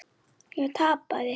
Ég tapaði.